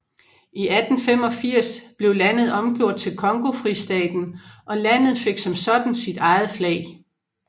I 1885 blev landet omgjort til Congofristaten og landet fik som sådan sit eget flag